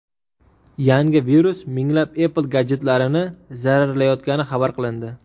Yangi virus minglab Apple gadjetlarini zararlayotgani xabar qilindi.